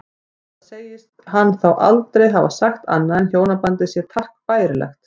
Enda segist hann þá aldrei hafa sagt annað en hjónabandið sé takk bærilegt.